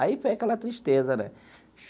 Aí foi aquela tristeza, né?